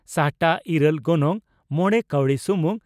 ᱥᱟᱦᱴᱟ ᱺ ᱤᱨᱟᱹᱞ , ᱜᱚᱱᱚᱝ ᱺ ᱢᱚᱲᱮ ᱠᱟᱣᱰᱤ ᱥᱩᱢᱩᱝ